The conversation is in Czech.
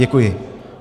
Děkuji.